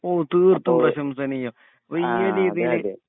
ഓഹ് തീർത്തും പ്രശംസനീയം വല്യ രീതിയിൽ